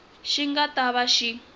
xi nga ta va xi